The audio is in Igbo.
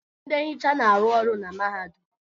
Ndị nhicha na-arụ ọrụ na mahadum.